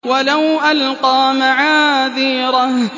وَلَوْ أَلْقَىٰ مَعَاذِيرَهُ